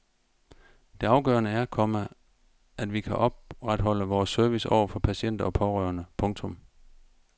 Det afgørende er, komma at vi kan opretholde vores service over for patienter og pårørende. punktum